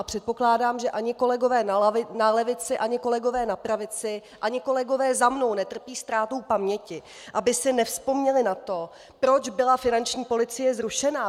A předpokládám, že ani kolegové na levici, ani kolegové na pravici, ani kolegové za mnou netrpí ztrátou paměti, aby si nevzpomněli na to, proč byla finanční policie zrušena.